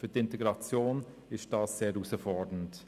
– Für die Integration ist das sehr herausfordernd.